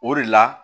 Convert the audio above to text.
O de la